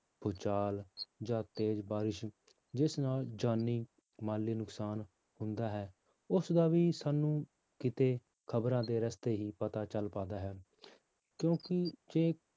ਭੂਚਾਲ ਜਾਂ ਤੇਜ਼ ਬਾਰਿਸ਼, ਜਿਸ ਨਾਲ ਜਾਨੀ ਮਾਲੀ ਨੁਕਸਾਨ ਹੁੰਦਾ ਹੈ, ਉਸਦਾ ਵੀ ਸਾਨੂੰ ਕਿਤੇ ਖ਼ਬਰਾਂ ਦੇ ਰਸਤੇ ਹੀ ਪਤਾ ਚੱਲ ਪਾਉਂਦਾ ਹੈ ਕਿਉਂਕਿ ਜੇ